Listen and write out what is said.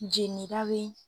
Jeninin kabi.